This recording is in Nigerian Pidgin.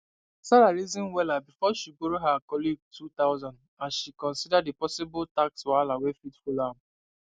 sarah reason wella before she borrow her colleague 2000 as she consider the possible tax wahala wey fit follow am